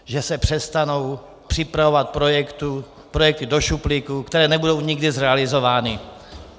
Že se přestanou připravovat projekty do šuplíku, které nebudou nikdy zrealizovány.